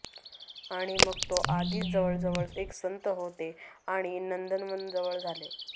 आणि मग तो आधीच जवळजवळ एक संत होते आणि नंदनवन जवळ झाले